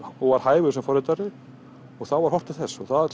og var hæfur sem forritari og þá var horft til þess það